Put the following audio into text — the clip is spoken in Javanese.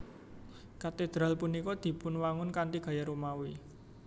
Katedral punika dipunwangun kanthi gaya Romawi